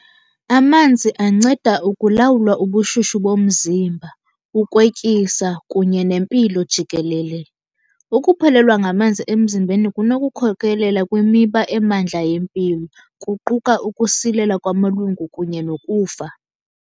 Amanzi anceda ukulawulwa ubushushu bomzimba, ukwetyisa kunye nempilo jikelele. Ukuphelelwa ngamanzi emzimbeni kunokukhokelela kwimiba emandla yempilo. Kuquka ukusilela kwamalungu kunye nokufa.